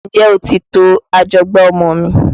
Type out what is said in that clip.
N jẹ́ o ti to ajọgbá ọmọ mi?